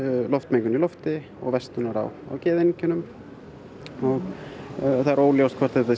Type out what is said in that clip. loftmengun og versnunar á geðeinkennum það er óljóst hvort þetta